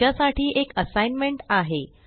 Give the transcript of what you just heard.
तुमच्या साठी एक असाइनमेंट आहे